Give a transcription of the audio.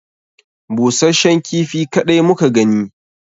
Busashshen kifi kaɗai muka gani